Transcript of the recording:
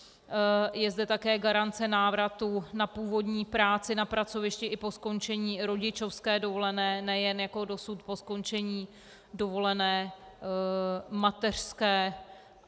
Je zde také garance návratu na původní práci na pracovišti i po skončení rodičovské dovolené, nejen jako dosud po skončení dovolené mateřské.